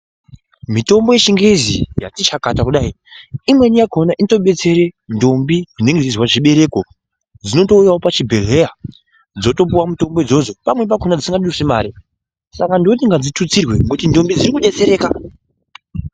Mitombo yechingezi yati chakata kudai, imweni yakhona inotodetsera ndombi dzinenge dzichizwa zvibereko, dzinotouyawo pach ibhedhleya dzotopuwa mutombo idzodzo .Pamweni pacho dzisingadusi mare. Saka ndoti ngadzithutsirwe ngekuti ndombi dziri kudetsereka.